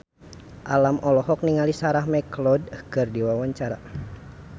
Alam olohok ningali Sarah McLeod keur diwawancara